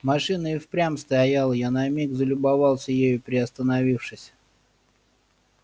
машина и впрямь стояла я на миг залюбовался ею приостановившись